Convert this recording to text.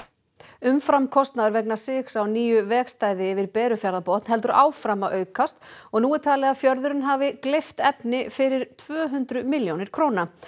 umframkostnaður vegna sigs á nýju vegstæði yfir Berufjarðarbotn heldur áfram að aukast og nú er talið að fjörðurinn hafi gleypt efni fyrir tvö hundruð milljónir króna